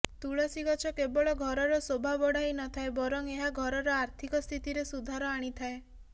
ତୁଳସୀ ଗଛ କେବଳ ଘରର ଶୋଭା ବଢ଼ାଇନଥାଏ ବରଂ ଏହା ଘରର ଆର୍ଥିକ ସ୍ଥିତିରେ ସୁଧାର ଆଣିଥାଏ